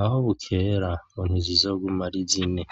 aho bukera ngo ntizizoguma ari zine.